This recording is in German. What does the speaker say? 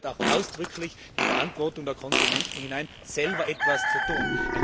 Und hier gehört auch ausdrücklich die Verantwortung der Konsumenten hinein, selbst etwas zu tun.